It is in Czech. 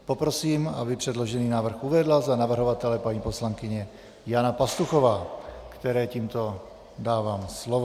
Poprosím, aby předložený návrh uvedla za navrhovatele paní poslankyně Jana Pastuchová, které tímto dávám slovo.